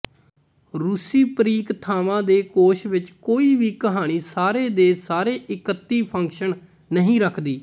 ਰੂਸੀ ਪਰੀਕਥਾਵਾਂ ਦੇ ਕੋਸ਼ ਵਿੱਚ ਕੋਈ ਵੀ ਕਹਾਣੀ ਸਾਰੇ ਦੇ ਸਾਰੇ ਇਕੱਤੀ ਫੰਕਸ਼ਨ ਨਹੀਂ ਰੱਖਦੀ